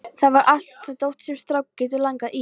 Þar var allt það dót sem stráka getur langað í.